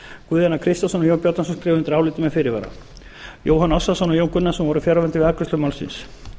guðjón a kristjánsson og jón bjarnason skrifa undir álitið með fyrirvara jóhann ársælsson og jón gunnarsson voru fjarverandi við afgreiðslu málsins